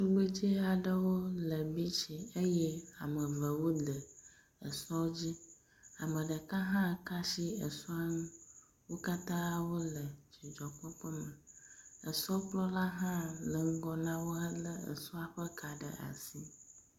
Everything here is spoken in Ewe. Ŋugbedzɛaɖewó le bitsi eyɛ amevewó le esɔ dzi, ameɖeka hã ka'si esɔa ŋu, wó katã wóle dzidzɔkpɔkpɔme, esɔkplɔla hã le ŋgɔ náwó hele esɔ ƒe ka ɖe asi